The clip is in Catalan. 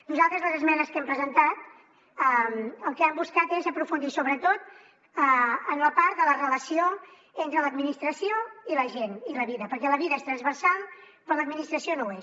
nosaltres les esmenes que hem presentat el que han buscat és aprofundir sobretot en la part de la relació entre l’administració i la gent i la vida perquè la vida és transversal però l’administració no ho és